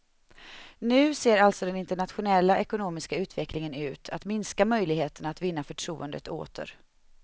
Nu ser alltså den internationella ekonomiska utvecklingen ut att minska möjligheterna att vinna förtroendet åter.